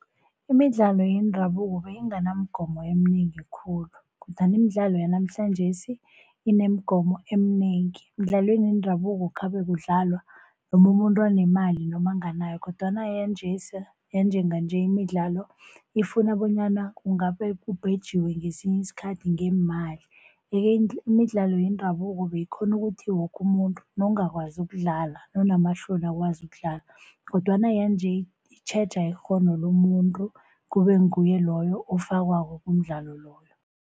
Imidlalo yendabuko beyinganamgomo eminengi khulu kodwana imidlalo yanamhlanjesi inemigomo eminengi. Emidlalweni yendabuko khabe kudlalwa noma umuntu anemali noma anganayo kodwana yanjesi, yanjenganje imidlalo ifuna bonyana kungabe kubhejiwe ngesinye isikhathi ngemali. Yeke imidlalo yendabuko beyikghona ukuthi woke umuntu nawungakwaziko ukudlala nawunamahloni awazi ukudlala, kodwana yanje itjheja ikghono lomuntu kube nguye loyo ofakwako kumdlalo loyo.